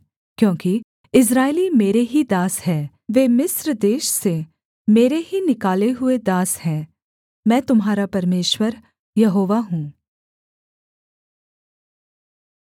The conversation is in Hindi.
क्योंकि इस्राएली मेरे ही दास हैं वे मिस्र देश से मेरे ही निकाले हुए दास हैं मैं तुम्हारा परमेश्वर यहोवा हूँ